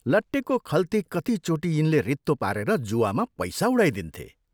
लट्टेको खल्ती कतिचोटि यिनले रित्तो पारेर जुवामा पैसा उडाइदिन्थे।